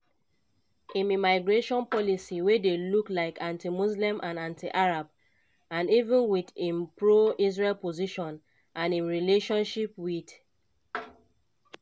im immigration policy wey dey look like anti-muslim and anti-arab and even wit im pro-israel position and im relationship wit